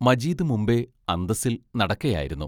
മജീദ് മുമ്പേ അന്തസ്സിൽ നടക്കയായിരുന്നു.